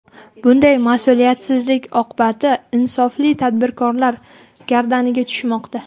Bunday mas’uliyatsizlik oqibati insofli tadbirkorlar gardaniga tushmoqda.